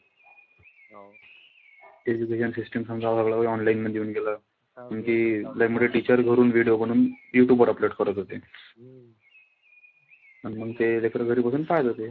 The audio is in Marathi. Education system समदं online मध्ये येऊन गेलं. आणखी लय मोठे teachers घरून video बनवून यूट्यूब वर upload करत होते. अन मंग ते लेकरं घरी बसून पाहत होते.